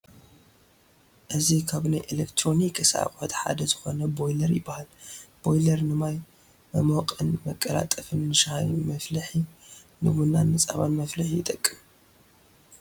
እዚ ካብ ናይ ኤሌክትሮኒክስ ኣቑሑት ሓደ ዝኾነ ቦይለር ይባሃል፡፡ ቦይለር ንማይ መሞቕን መቀላጠፍን ፣ ንሻሂ መፍልሒ፣ ንቡናን ንፀባን መፍልሒ ይጠቅም፡፡